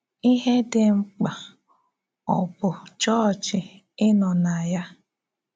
Íhè Dị Mkpà Ọ̀ Bụ Chọ́ọ̀chị Ị̀ Nọ̀ na Ya?